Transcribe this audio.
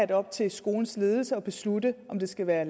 det op til skolens ledelse at beslutte om det skal være